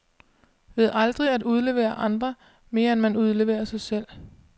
Ved aldrig at udlevere andre, mere end man udleverer sig selv.